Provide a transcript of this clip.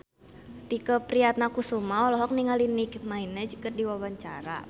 Tike Priatnakusuma olohok ningali Nicky Minaj keur diwawancara